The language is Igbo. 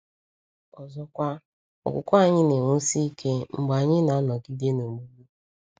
Ọzọkwa, okwukwe anyị na-enwusi ike mgbe anyị na-anọgide n’ogbugbu.